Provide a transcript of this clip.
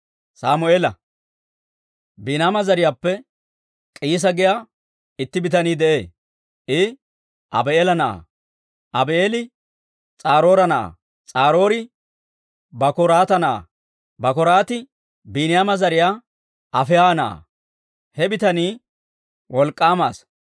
Biiniyaama zariyaappe K'iisa giyaa itti bitanii de'ee; I Abii'eela na'aa; Abii'eeli S'aroora na'aa; S'aroori Bakoraata na'aa; Bakoraati Biiniyaama zariyaa Afiiha na'aa; he bitanii wolk'k'aama asaa.